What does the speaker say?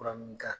Fura mun ka